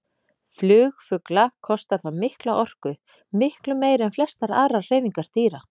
Flug fugla kostar þá mikla orku, miklu meiri en flestar aðrar hreyfingar dýra.